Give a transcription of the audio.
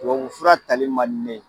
Tubabu fura tali man di ne ye.